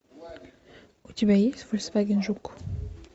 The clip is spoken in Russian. у тебя есть фольксваген жук